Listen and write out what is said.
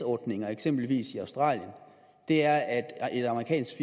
ordninger eksempelvis i australien er at et amerikansk